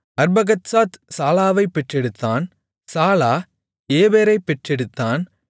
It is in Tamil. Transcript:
அர்பக்சாத் சாலாவைப் பெற்றெடுத்தான் சாலா ஏபேரைப் பெற்றெடுத்தான்